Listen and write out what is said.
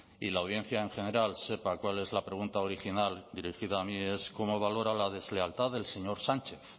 y la audiencia en general sepa cuál es la pregunta original dirigida a mí es cómo valora la deslealtad del señor sánchez